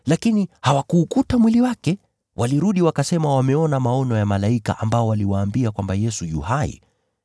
lakini hawakuukuta mwili wake. Walirudi wakasema wameona maono ya malaika ambao waliwaambia kwamba Yesu yu hai.